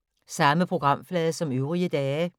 Samme programflade som øvrige dage